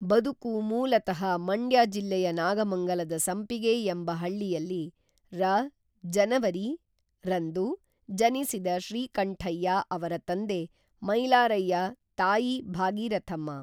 ಬದುಕು ಮೂಲತಃ ಮಂಡ್ಯ ಜಿಲ್ಲೆಯ ನಾಗಮಂಗಲದ ಸಂಪಿಗೆ ಎಂಬ ಹಳ್ಳಿಯಲ್ಲಿ ರ ಜನವರಿ ರಂದು ಜನಿಸಿದ ಶ್ರೀಕಂಠಯ್ಯ ಅವರ ತಂದೆ ಮೈಲಾರಯ್ಯ ತಾಯಿ ಭಾಗೀರಥಮ್ಮ